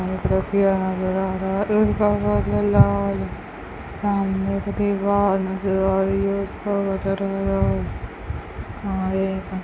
सामने एक दीवाल नजर आ रही है है।